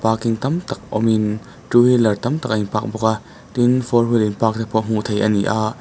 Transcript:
parking tam tak awmin two wheeler tam tak a in park bawk a tin four wheel in park te pawh hmuh theih a ni a--